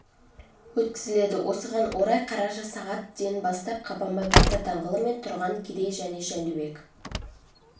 өткізіледі осыған орай қараша сағат ден бастап қабанбай батыр даңғылы мен тұран керей және жәнібек